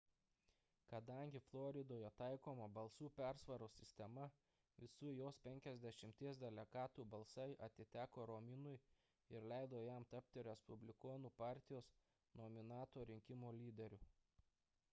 kadangi floridoje taikoma balsų persvaros sistema visų jos penkiasdešimties delegatų balsai atiteko romniui ir leido jam tapti respublikonų partijos nominanto rinkimų lyderiu